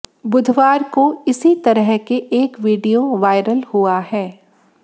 बुधवार को इसी तरह के एक वीडियो वायरल हुआ है